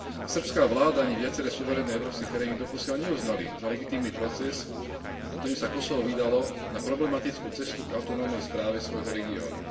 Srbská vláda ani viaceré suverénne európske krajiny doposiaľ neuznali za legitímny proces, ktorým sa Kosovo vydalo na problematickú cestu k autonómnej správe svojho regiónu.